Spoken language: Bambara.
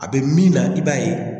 A bɛ min na i b'a ye